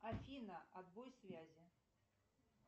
афина отбой связи